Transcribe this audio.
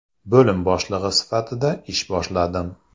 Bo‘lim boshlig‘i sifatida ish boshladim.